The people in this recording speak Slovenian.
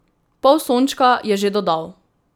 Pol sončka je že dodal!